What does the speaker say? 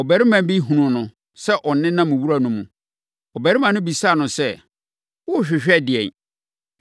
ɔbarima bi hunuu no sɛ ɔnenam wura no mu. Ɔbarima no bisaa no sɛ, “Worehwehwɛ ɛdeɛn?”